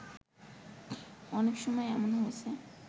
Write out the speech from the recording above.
অনেক সময় এমন হয়েছে